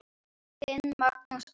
Þinn, Magnús Andri.